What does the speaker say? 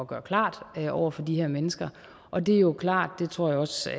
gøre klart over for de her mennesker og det er jo klart og det tror jeg også